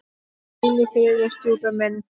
Hvíl í friði, stjúpi minn.